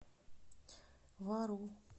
вару